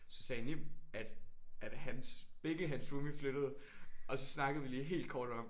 Så sagde Nim at at hans begge hans roomie flyttede og så snakkede vi lige helt kort om